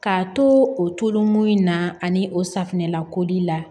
K'a to o tolonmin in na ani o safinɛlako di la